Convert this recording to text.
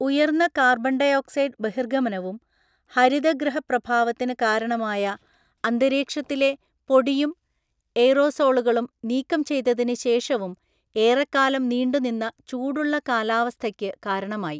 ഉയർന്ന carbon dioxide ബഹിർഗമനവും ഹരിതഗൃഹ പ്രഭാവത്തിന് കാരണമായ അന്തരീക്ഷത്തിലെ പൊടിയും എയ്റോസോളുകളും നീക്കം ചെയ്തതിന് ശേഷവും ഏറെകാലം നീണ്ടുനിന്ന ചൂടുള്ള കാലാവസ്ഥയ്ക്ക് കാരണമായി.